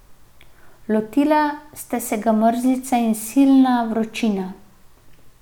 Lotili sta se ga mrzlica in silna vročina.